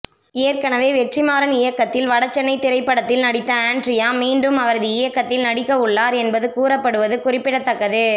ஏற்கனவே வெற்றிமாறன் இயக்கத்தில் வடசென்னை திரைப்படத்தில் நடித்த ஆண்ட்ரியா மீண்டும் அவரது இயக்கத்தில் நடிக்க உள்ளார் என்பது கூறப்படுவது குறிப்பிடத்தக்கது